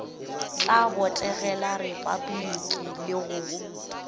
tla botegela repabliki le go